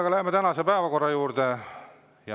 Nii, läheme tänase päevakorra juurde.